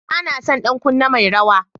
Banason ɗan kunne mai rawa.